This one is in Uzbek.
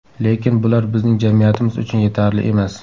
Lekin bular bizning jamiyatimiz uchun yetarli emas.